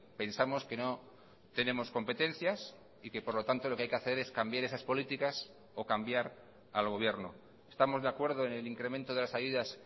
pensamos que no tenemos competencias y que por lo tanto lo que hay que hacer es cambiar esas políticas o cambiar al gobierno estamos de acuerdo en el incremento de las ayudas